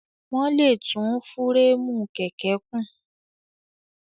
Wọ́n lè tún fúréèmù kẹ̀kẹ́ kùn.